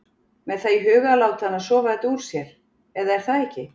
Með það í huga að láta hana sofa þetta úr sér. eða er það ekki????